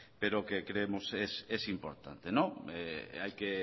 pero que creemos es importante hay que